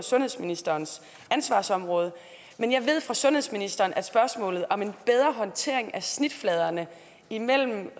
sundhedsministerens ansvarsområde men jeg ved fra sundhedsministeren at spørgsmålet om en bedre håndtering af snitfladerne imellem